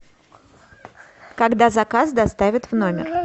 когда заказ доставят в номер